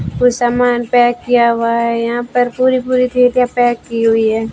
कुछ सामान पैक किया हुआ है यहां पर पूरी पूरी चीजें पैक की हुई हैं।